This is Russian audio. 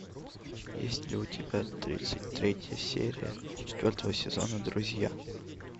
есть ли у тебя тридцать третья серия четвертого сезона друзья